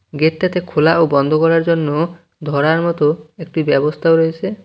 গেটটাতে খোলা ও বন্ধ করার জন্য ধরার মতো একটি ব্যবস্থাও রয়েসে।